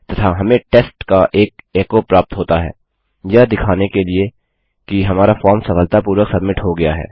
तथा हमें टेस्ट का एक एको प्राप्त होता है यह दिखाने के लिए कि हमारा फॉर्म सफलतापूर्वक सब्मिट हो गया है